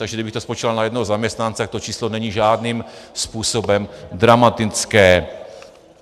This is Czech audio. Takže kdybych to spočítal na jednoho zaměstnance, tak to číslo není žádným způsobem dramatické.